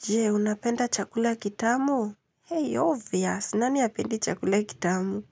Je, unapenda chakula ya kitamu? Hey, obvious. Nani hapendi chakula kitamu?